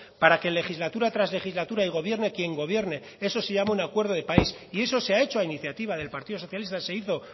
para que legislatura tras legislatura y gobierne quien gobierne eso se llama un acuerdo de país y eso se ha hecho a iniciativa del partido socialista se hizo